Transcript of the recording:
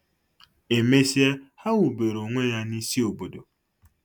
E mesịa ha wubere onwe ya n'isi obodo.